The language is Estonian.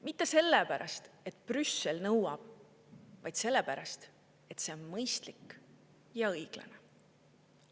Mitte sellepärast, et Brüssel seda nõuab, vaid sellepärast, et see on mõistlik ja õiglane.